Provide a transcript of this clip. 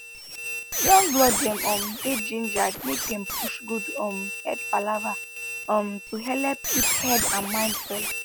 young blood dem um dey gingered make dem push good um head palava um to helep keep head and mind well